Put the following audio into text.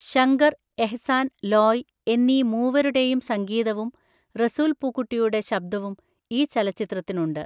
ശങ്കർ എഹ്‌സാൻ ലോയ് എന്നീ മൂവരുടെയും സംഗീതവും റസൂൽ പൂക്കുട്ടിയുടെ ശബ്ദവും ഈ ചലചിത്രത്തിനുണ്ട്.